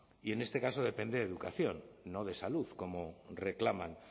y en este caso depende de educación no de salud como reclaman